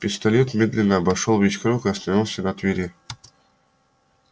пистолет медленно обошёл весь круг и остановился на твере